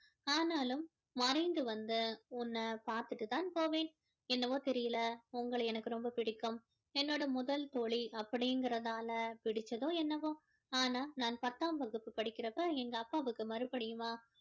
ஆனாலும் மறைந்து வந்து உன்னை பார்த்திட்டு தான் போவேன் என்னவோ தெரியல உங்கள எனக்கு ரொம்ப பிடிக்கும் என்னோட முதல் தோழி அப்படிங்கிறதால பிடிச்சதோ என்னவோ ஆனா நான் பத்தாம் வகுப்பு படிக்கிற அப்போ எங்க அப்பாவுக்கு மறுபடியுமா